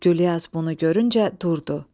Güllyaz bunu görüncə durdu.